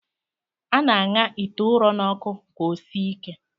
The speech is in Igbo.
A na-aṅa ite ụrọ n'ọkụ ka o sie ike